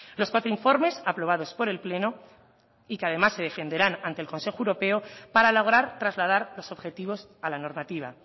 los cuatro informes aprobados por el pleno y que además se defenderán ante el consejo europeo para lograr trasladar los objetivos a la normativa